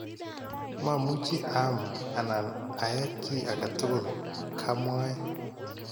"Mamuchi aam anan aee kii ake tukul", kamwae